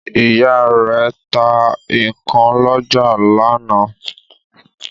Ìyá rẹ̀ ta ikán lọ́jà lánàá.